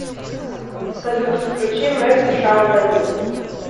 салют включи мерси шаун мендес